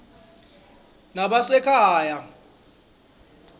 nebasekhaya